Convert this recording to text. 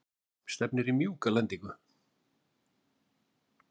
Henný, stefnir í mjúka lendingu?